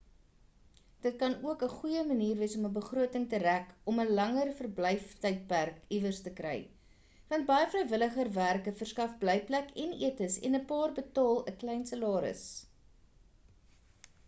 dit kan ook 'n goeie manier wees om 'n begroting te rek om 'n langer verblyftydperk iewers te kry want baie vrywilliger werke verskaf blykplek en etes en 'n paar betaal 'n klein salaris